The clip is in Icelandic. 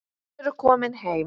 Þið eruð komin heim.